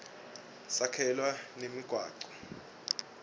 sakhelwa nemigwaco